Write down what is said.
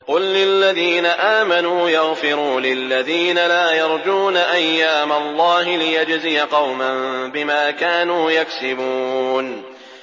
قُل لِّلَّذِينَ آمَنُوا يَغْفِرُوا لِلَّذِينَ لَا يَرْجُونَ أَيَّامَ اللَّهِ لِيَجْزِيَ قَوْمًا بِمَا كَانُوا يَكْسِبُونَ